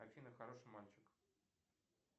афина хороший мальчик